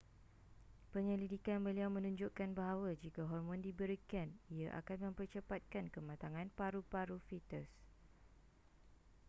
penyelidikan beliau menunjukkan bahawa jika hormon diberikan ia akan mempercepatkan kematangan paru-paru fetus